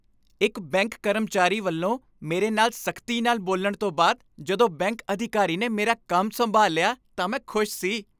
ਇਕ ਬੈਂਕ ਕਰਮਚਾਰੀ ਵੱਲੋਂ ਮੇਰੇ ਨਾਲ ਸਖ਼ਤੀ ਨਾਲ ਬੋਲਣ ਤੋਂ ਬਾਅਦ ਜਦੋਂ ਬੈਂਕ ਅਧਿਕਾਰੀ ਨੇ ਮੇਰਾ ਕੰਮ ਸੰਭਾਲ ਲਿਆ ਤਾਂ ਮੈਂ ਖ਼ੁਸ਼ ਸੀ ।